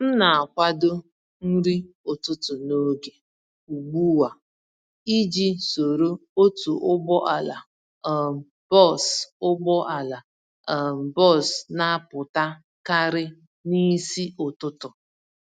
M na-akwado nri ụtụtụ n'oge ugbu a iji soro otu ụgbọala um bọs ụgbọala um bọs napụta karị n'isi ụtụtụ